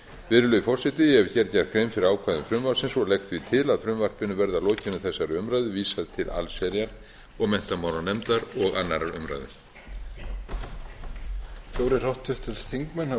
virðulegi forseti ég hef hér gert grein fyrir ákvæðum frumvarpsins og legg því til að frumvarpinu verði að lokinni þessari umræðu vísað til allsherjar og menntamálanefndar og annarrar umræðu